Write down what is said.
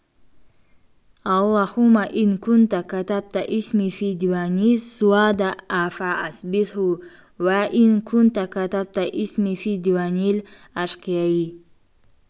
аллаһуммә ин кунтә кәтәбтә исми фии диуәнис-суъадә-ә фә әсбитһу уә ин кунтә кәтәбтә исми фии диуәнил-ашқияи